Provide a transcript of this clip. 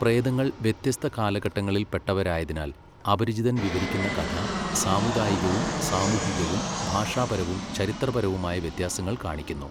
പ്രേതങ്ങൾ വ്യത്യസ്ത കാലഘട്ടങ്ങളിൽ പെട്ടവരായതിനാൽ, അപരിചിതൻ വിവരിക്കുന്ന കഥ സാമുദായികവും സാമൂഹികവും ഭാഷാപരവും ചരിത്രപരവുമായ വ്യത്യാസങ്ങൾ കാണിക്കുന്നു.